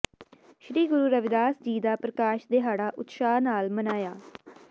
ਸ੍ਰੀ ਗੁਰੂ ਰਵਿਦਾਸ ਜੀ ਦਾ ਪ੍ਰਕਾਸ਼ ਦਿਹਾੜਾ ਉਤਸ਼ਾਹ ਨਾਲ ਮਨਾਇਆ